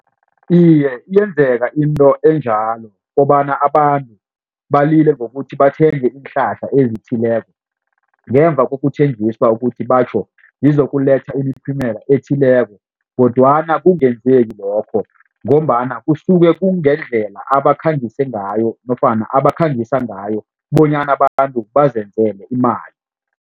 Iye yenzeka into enjalo kobana abantu balile ngokuthi bathenge iinhlahla ezithileko. Ngemva kokuthenjiswa ukuthi batjho ngizokuletha imiphumela ethileko kodwana kungenzeki lokho ngombana kusuke kungendlela abakhangise ngayo nofana abakhangisa ngayo bonyana abantu bazenzele imali.